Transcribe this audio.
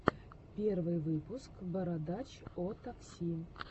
первый выпуск бородач о такси